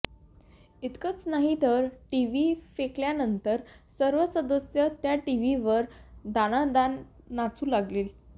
इतकंच नाही तर टीव्ही फेकल्यानंतर सर्व सदस्य त्या टीव्हीवर दणादणा नाचू लागले